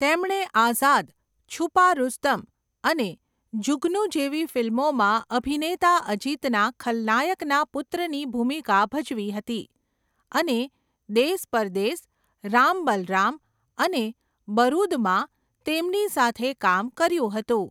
તેમણે આઝાદ, છુપા રુસ્તમ અને જુગનૂ જેવી ફિલ્મોમાં અભિનેતા અજિતના ખલનાયકના પુત્રની ભૂમિકા ભજવી હતી અને દેસ પરદેસ, રામ બલરામ અને બરુદમાં તેમની સાથે કામ કર્યું હતું.